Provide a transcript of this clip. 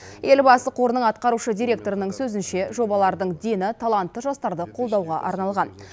елбасы қорының атқарушы директорының сөзінше жобалардың дені талантты жастарды қолдауға арналған